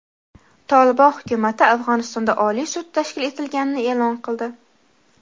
"Tolibon" hukumati Afg‘onistonda oliy sud tashkil etilganini e’lon qildi.